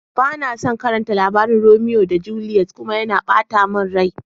Bana son karatan labarin Romea da Juliet kuma, yana bata mun rai.